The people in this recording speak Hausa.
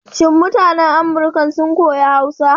Shin mutanan Amurkan sun koyi Hausa?